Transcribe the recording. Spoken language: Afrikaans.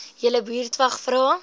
julle buurtwag vra